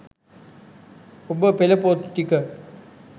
ඔබ පෙළ පොත් ටික